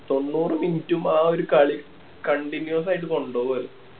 തൊണ്ണൂറ് minute ഉം ആ ഒരു കളി continuous ആയിട്ട് കൊണ്ട് പോവ്വാ